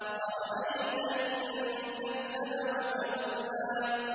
أَرَأَيْتَ إِن كَذَّبَ وَتَوَلَّىٰ